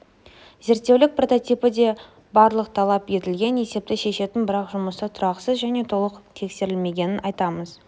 зерттеулік прототипі деп барлық талап етілген есепті шешетін бірақ жұмыста тұрақсыз және толық тексерілмегенін айтамыз